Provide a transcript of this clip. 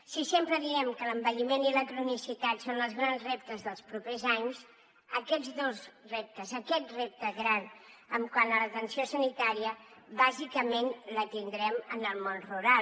si sempre diem que l’envelliment i la cronicitat són els grans reptes dels propers anys aquests dos reptes aquest repte gran quant a l’atenció sanitària bàsicament el tindrem en el món rural